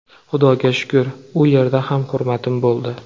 Xudoga shukr u yerda ham hurmatim bo‘ldi.